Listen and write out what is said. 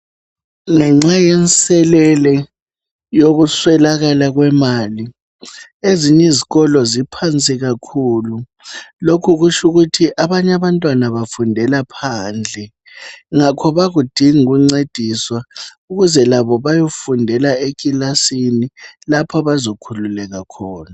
Ngenxa yenselele yokuswelakala kwemali ezinye izikolo ziphansi kakhulu lokhu kutsho ukuthi abanye abantwana bafundela phandle ngakho bayakudinga ukuncediswa ukuze labo bayefundela ekilasin lapho abazokhululeka khona